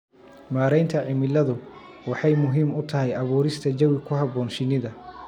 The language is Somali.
Maareynta cimiladu waxay muhiim u tahay abuurista jawi ku habboon shinnida.